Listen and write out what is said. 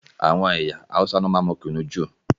Àwọn ẹyà Hausa ní wọn máa n mú kùnú jù